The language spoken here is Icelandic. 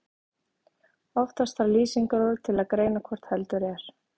Oftast þarf lýsingarorð til að greina hvort heldur er.